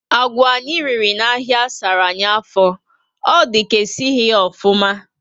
Agwà anyị riri na áhiá sárá anyị afọ. Ọ dị ka esighi ya ofụma